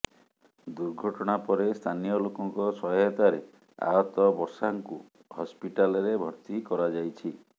ଦୁର୍ଘଟଣା ପରେ ସ୍ଥାନୀୟ ଲୋକଙ୍କ ସହାୟତାରେ ଆହତ ବର୍ଷାଙ୍କୁ ହସ୍ପିଟାଲରେ ଭର୍ତ୍ତି କରାଯାଇଛି